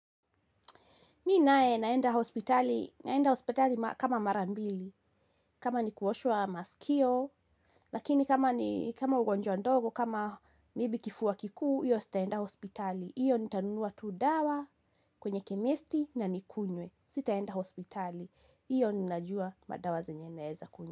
Mimi naye naenda hospitali, naenda hospitali kama mara mbili, kama ni kuoshwa masikio, lakini kama ugonjwa ndogo, kama maybe kifua kikuu, hiyo sitaenda hospitali. Hiyo nitanunua tu dawa kwenye kemesti na nikunywe, sitaenda hospitali, hiyo ninajua madawa zenye naeza kunywa.